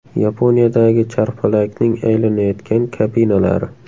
Yaponiyadagi charxpalakning aylanayotgan kabinalari.